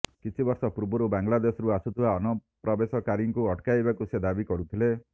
କିଛି ବର୍ଷ ପୂର୍ବରୁ ବାଂଲାଦେଶରୁ ଆସୁଥିବା ଅନୁପ୍ରବେଶକାରୀଙ୍କୁ ଅଟକାଇବାକୁ ସେ ଦାବି କରୁଥିଲେ